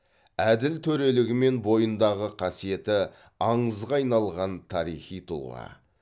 әділ төрелігі мен бойындағы қасиеті аңызға айналған тарихи тұлға